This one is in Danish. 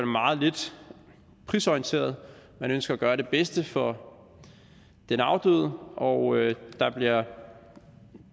meget lidt prisorienteret man ønsker at gøre det bedste for den afdøde og der bliver